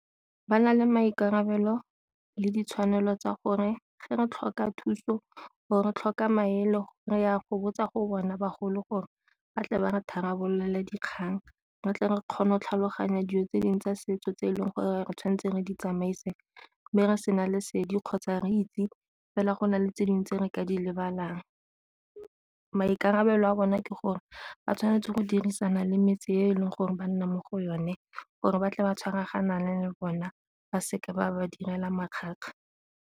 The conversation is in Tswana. Ba na le maikarabelo le ditshwanelo tsa gore fa re tlhoka thuso, gore tlhoka maele re ya go botsa go bona bagolo gore ba tle ba re tharabolole dikgang re tle re kgone go tlhaloganya dijo tse dingwe tsa setso tse e leng gore re tshwanetseng re di tsamaise mme re sena lesedi kgotsa re itse fela go na le tse dingwe tse re ka di lebelelang. Maikarabelo a bone ke gore ba tshwanetse go dirisana le metse e leng gore ba nna mo go yone gore ba tle ba tshwaraganane le bona ba seka ba ba direla makgakga.